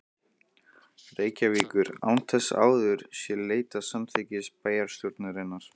Reykjavíkur, án þess að áður sé leitað samþykkis bæjarstjórnarinnar.